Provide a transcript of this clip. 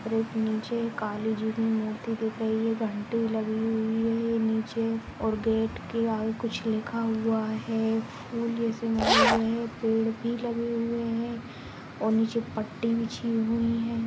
और एक नीचे काली जी की मूर्ति दिख रही है। घण्टी लगी हुइ है। नीचे और गेट के आगे कुछ लिखा हुआ है। फूल में समाये हुए है। पेड़ भी लगे हुए हैं। और नीचे पट्टी बिछी हुइ है।